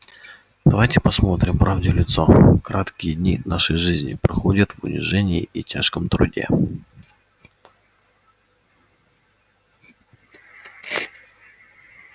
давайте посмотрим правде в лицо краткие дни нашей жизни проходят в унижении и тяжком труде